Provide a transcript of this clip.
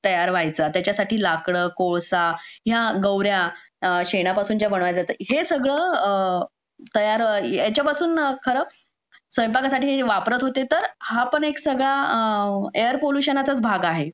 तयार व्हायचा त्याच्यासाठी लाकडं कोळसा या गौर्या शेणापासूनच्या बनवल्या जातात हे सगळं तयार व्हायचं याच्यापासून खरं स्वयंपाकासाठी हे वापरत होते तर हा पण एक सगळा एअर पॉल्युशनचाच भाग आहे